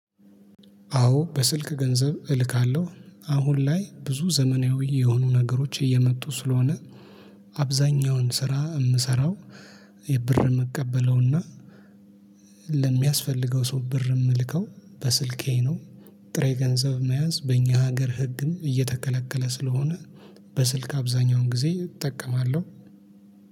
አዎ በስልክ ገንዘብ እልካለሁ አሁን ላይ ብዙ ዘመናዊ የሆኑ ነገሮች እየመጡ ስለሆነ አብዛኛውን ስራ የምሰራው። የብር ምቀበለውና ለሚያስፈልገው ሰው ብር የምልከው በስልኬ ነው። ጥሬ ገንዘብ መያዝ በእኛ ሀገር ህግም እየተከለከለ ስለሆነ በስልክ አብዛኛውን ጊዜ እጠቀማለሁ።